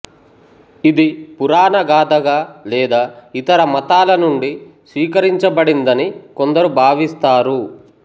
ఇది పురాణ గాథగా లేదా ఇతర మతాల నుండి స్వీకరించబడిందని కొందరు భావిస్తారు